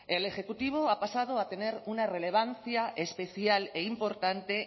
el ejecutivo ha pasado a tener una relevancia especial e importante